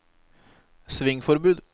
svingforbud